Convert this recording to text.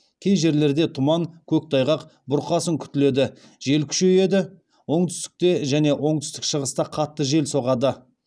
кей жерлерде тұман көктайғақ бұрқасын күтіледі жел күшейеді оңтүстікте және оңтүстік шығыста қатты жел соғады